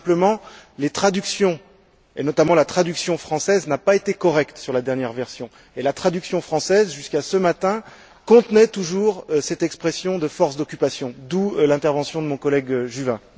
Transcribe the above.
Simplement, les traductions et, notamment, la traduction française n'a pas été correcte sur la dernière version, et la traduction française, jusqu'à ce matin, contenait toujours cette expression de force d'occupation, d'où l'intervention de mon collègue Juvin.